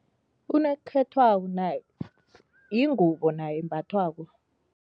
Unokhethwabo naye yingubo nayo embathwako.